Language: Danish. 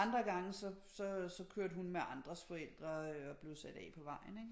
Andre gange så kørte hun med andres forældre og blev sat af på vejen ikke